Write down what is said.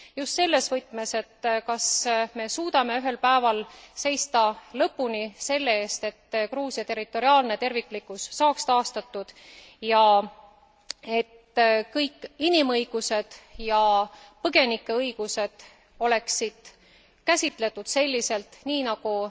Just selles võtmes, et kas me suudame ühel päeval seista lõpuni selle eest, et Gruusia territoriaalne terviklikkus saaks taastatud ja et kõik inimõigused ja põgenike õigused oleksid käsitletud selliselt, nagu